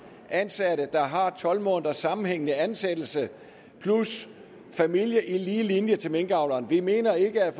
ansatte der har haft tolv måneders sammenhængende ansættelse og familie i lige linje til minkavleren vi mener ikke at